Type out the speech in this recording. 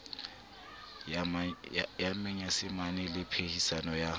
ya manyesemane le phehisano ya